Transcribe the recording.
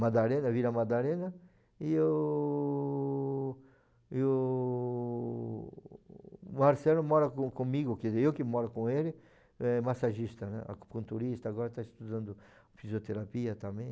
Madalena, Vila Madalena, e o... e o... Marcelo mora com comigo, quer dizer, eu que moro com ele, massagista, né, acupunturista, agora está estudando fisioterapia também.